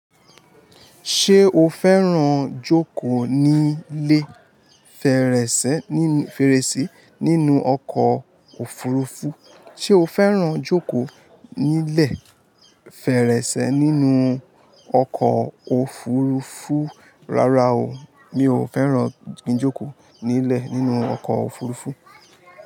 Ṣé o fẹ́ràn jókòó nílẹ̀ fèrèsé nínú ọkọ̀ òfurufú? Ṣé o fẹ́ràn jókòó nílẹ̀ fèrèsé nínú ọkọ̀ òfurufú? Rárá o, mi ò fẹ́ràn jíjòkòó nílẹ̀ nínú ọkọ̀ òfurufú.